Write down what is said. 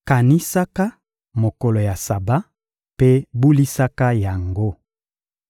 Kanisaka mokolo ya Saba mpe bulisaka yango.